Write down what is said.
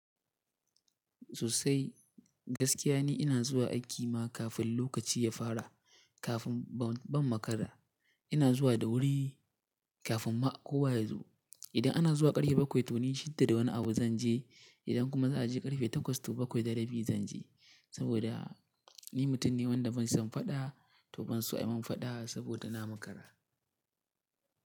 Sosai, gaskiya ne ina zuwa aiki ma kafin lokaci ya fara, kafin ban makara. Ina zuwa da wuri kafin ma kowa ya zo. Idan ana zuwa ƙarfe bakwai to ni shida da wani abu zan je. Idan kuma za a je ƙarfe takwas to bakwai da rabi zan je. Saboda ni mutum ne wanda ban son faɗa to ban so a yi min faɗa saboda na makara.